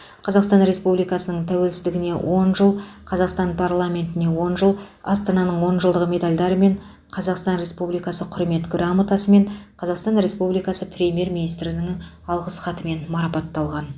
қазақстан республикасының тәуелсіздігіне он жыл қазақстан парламентіне он жыл астананың он жылдығы медальдарымен қазақстан республикасы құрмет грамотасымен қазақстан республикасы премьер министрінің алғыс хатымен марапатталған